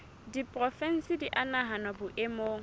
diporofensi di a nahanwa boemong